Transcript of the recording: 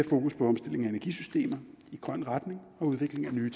fokus på omstilling af energisystemer i grøn retning og udvikling af nye